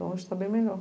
Hoje está bem melhor.